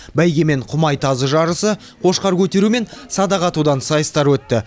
бәйге мен құмай тазы жарысы қошқар көтеру мен садақ атудан сайыстар өтті